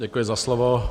Děkuji za slovo.